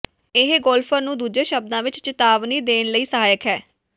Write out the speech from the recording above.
ਇਹ ਗੋਲਫਰ ਨੂੰ ਦੂਜੇ ਸ਼ਬਦਾਂ ਵਿਚ ਚੇਤਾਵਨੀ ਦੇਣ ਲਈ ਸਹਾਇਕ ਹੈ